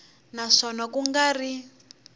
na swona ku nga ri